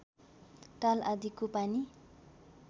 ताल आदिको पानी